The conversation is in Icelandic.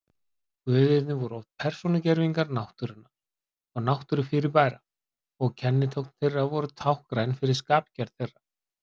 Guðirnir voru oft persónugervingar náttúrunnar og náttúrufyrirbæra og kennitákn þeirra voru táknræn fyrir skapgerð þeirra.